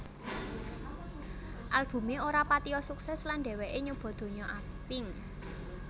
Albumé ora patiya sukses lan dheweké nyoba donya akting